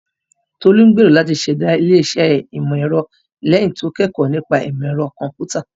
Tolu gbèrò láti ṣẹ̀dá ilé-iṣẹ́ ìmọ̀-ẹ̀rọ lẹ́yìn tí ó kẹ́kọ̀ọ́ nípa ìmọ̀ ẹ̀rọ kọ̀m̀pútà.